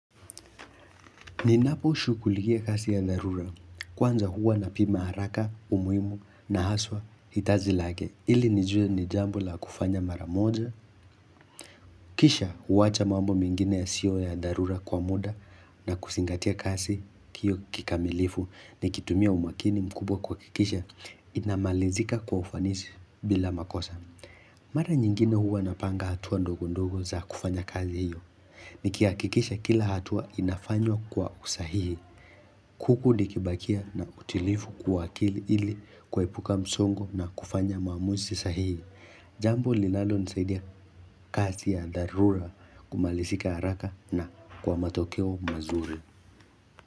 Ninapo shughulikia kazi ya dharura, kwanza huwa napima haraka, umuhimu na haswa hitaji lake, ili nijue ni jambo la kufanya mara moja, kisha huwacha mambo mengine ya sio ya darura kwa muda na kusingatia kasi kio kikamilifu nikitumia umakini mkubwa kwakikisha inamalizika kwa ufanisi bila makosa. Mara nyingine huwa napanga hatua ndogo ndogo za kufanya kazi hiyo Nikihakikisha kila hatua inafanywa kwa usahihi huku nikibakia na utilifu kwa akili ili kuepuka msongo na kufanya maamuzi sahihi Jambo lilalo nisaidia kazi ya dharura kumalizika haraka na kwa matokeo mazuri.